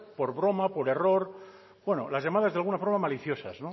por broma por error bueno las llamadas de alguna forma maliciosas